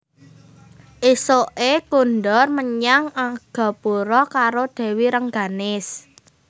Ésuké kondur menyang Argapura karo Dèwi Rengganis